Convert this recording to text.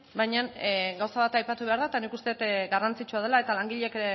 baina gauza bat aipatu behar da eta nik uste dut garrantzitsua dela eta langileek